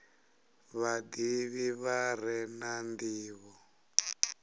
vhadivhi vha re na ndivho